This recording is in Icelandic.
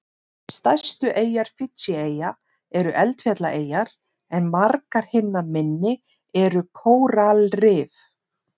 Stærstu eyjar Fídjieyja eru eldfjallaeyjar en margar hinna minni eru kóralrif.